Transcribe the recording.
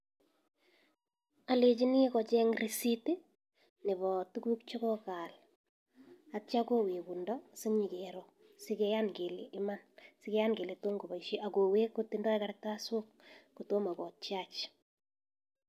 Alechini kocheny risitit nebo tukuk chekokaal atyo kowekundo sinyekero sikiyan kele iman sikeyan kele tomkoboishe akowek kotindoi kartasok kotomo kotiach.